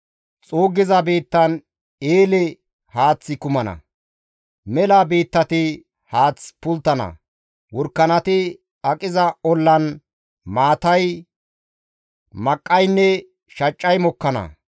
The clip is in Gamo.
Xuuggiza biittan eele haaththi kumana; mela biittati haath pulttana; worakanati aqiza ollan maatay, maqqaynne shaccay mokkana.